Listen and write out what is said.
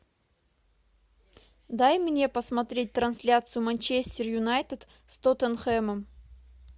дай мне посмотреть трансляцию манчестер юнайтед с тоттенхэмом